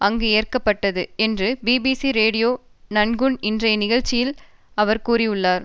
அங்கு ஏற்க பட்டது என்று பிபிசி ரேடியோ நான்குன் இன்றைய நிகழ்ச்சியில் அவர் கூறினார்